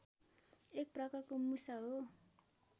एक प्रकारको मुसा हो